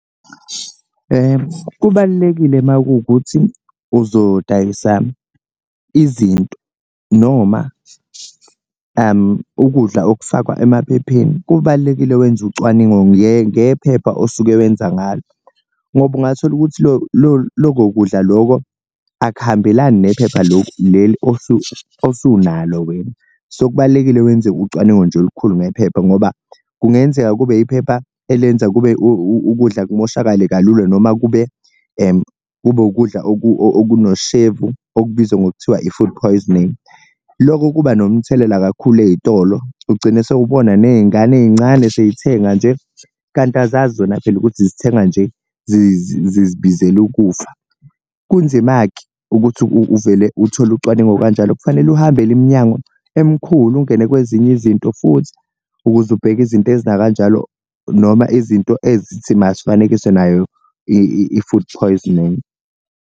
Kubalulekile makukuthi uzodayisa izinto noma ukudla okufakwa emaphepheni kubalulekile wenze ucwaningo ngephepha osuke wenza ngalo, ngoba ungathola ukuthi loko kudla loko akuhambelani nephepha loku leli osunalo wena. So, kubalulekile wenze ucwaningo nje olukhulu ngephepha ngoba kungenzeka kube iphepha elenza kube ukudla kumoshakale kalula noma kube kube ukudla okunoshevu okubizwa ngokuthiwa i-food poisoning, loko kuba nomthelela kakhulu ey'tolo ugcine sewubona ney'ngane ey'ncane sey'thenga nje kanti azazi zona phela ukuthi zithenga nje zizibizela ukufa. Kunzima-ke ukuthi uvele uthole ucwaningo kanjalo kufanele uhambele iminyango emkhulu, ungene kwezinye izinto futhi ukuze ubheke izinto ezinakanjalo noma izinto ezithi mazifanekiswe nayo i-food choice .